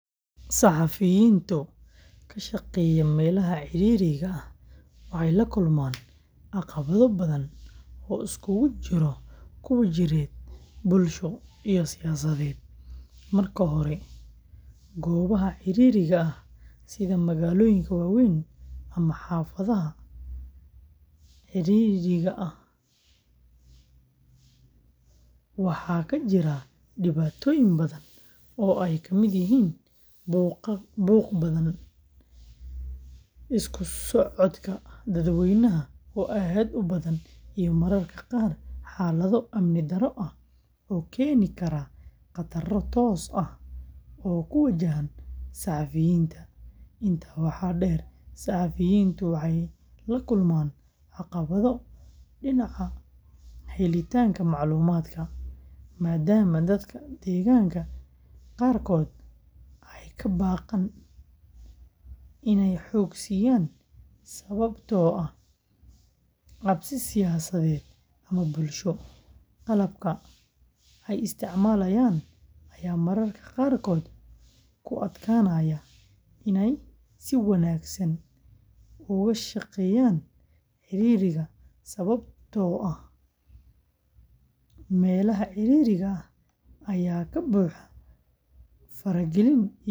Saxafiyiinta ka shaqeeya meelaha ciriiriga ah waxay la kulmaan caqabado badan oo isugu jira kuwo jireed, bulsho iyo siyaasadeed. Marka hore, goobaha ciriiriga ah sida magaalooyinka waaweyn ama xaafadaha cidhiidhiga ah, waxaa ka jira dhibaatooyin badan oo ay ka mid yihiin buuqa badan, isku socodka dadweynaha oo aad u badan, iyo mararka qaar xaalado amni darro ah oo keeni kara khataro toos ah oo ku wajahan saxafiyiinta. Intaa waxaa dheer, saxafiyiintu waxay la kulmaan caqabado dhinaca helitaanka macluumaadka, maadaama dadka degaanka qaarkood ay ka baqaan inay xog siiyaan sababtoo ah cabsi siyaasadeed ama bulsho. Qalabka ay isticmaalayaan ayaa mararka qaarkood ku adkaanaya inay si wanaagsan uga shaqeeyaan ciriiriga sababtoo ah meelaha ciriiriga ah ayaa ka buuxa faragelin iyo isgoysyo badan.